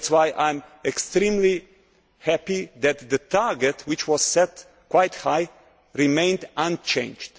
That is why I am extremely happy that the target which was set quite high has remained unchanged.